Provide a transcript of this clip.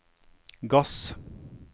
gass